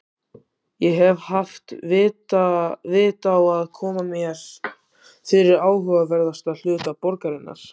Ég hef haft vit á að koma mér fyrir í áhugaverðasta hluta borgarinnar